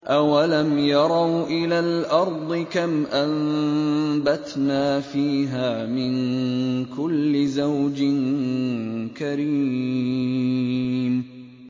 أَوَلَمْ يَرَوْا إِلَى الْأَرْضِ كَمْ أَنبَتْنَا فِيهَا مِن كُلِّ زَوْجٍ كَرِيمٍ